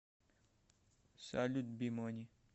салют бимуни